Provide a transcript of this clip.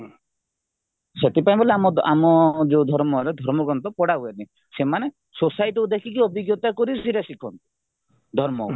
ଏଠି ପାଇଁ ବୋଲେ ଆମ ଆମ ଯୋଉ ଧର୍ମରେ ଧର୍ମଗ୍ରନ୍ଥ ପଢା ହୁଏନି ସେମାନେ society ଦେଖିକି ଅଭିଜ୍ଞତା କରିକି ସେଇଟା ଶିଖନ୍ତି ଧର୍ମ